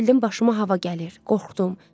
Elə bildim başıma hava gəlir, qorxdum.